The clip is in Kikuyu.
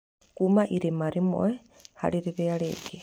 Kuma irima rĩmwe harĩ rĩrĩa rĩngĩ.